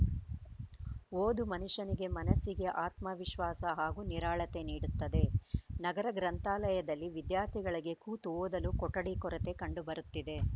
ಓದು ಮನುಷ್ಯನಿಗೆ ಮನಸಿಗೆ ಆತ್ಮವಿಶ್ವಾಸ ಹಾಗೂ ನಿರಾಳತೆ ನೀಡುತ್ತದೆ ನಗರ ಗ್ರಂಥಾಲಯದಲ್ಲಿ ವಿದ್ಯಾರ್ಥಿಗಳಿಗೆ ಕೂತು ಓದಲು ಕೊಠಡಿ ಕೊರತೆ ಕಂಡುಬರುತ್ತಿದೆ